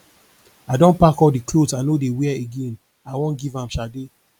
i don pack all the clothes i no dey wear again i wan give am sade